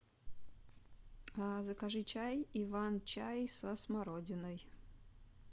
закажи чай иван чай со смородиной